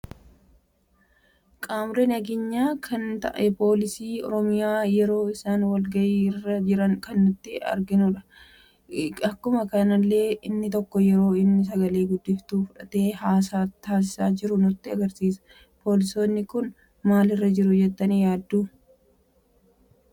Qaamoolee nageenya kan ta'a poolisii oroomiyaa yeroo isaan wal-gahii irra jiran kan nuti arginudha. Akkuma kanallee inni tokko yeroo inni sagalee guddiftu fudhate hasaa taasiisa jiru nutti agarsiisa. Poolisoonni kun maalirra jiru jettani yaaddu ?